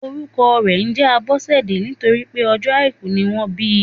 Orúkọ rè njé Abósèdé nítorípé ọjó àìkú ni wọ́n bi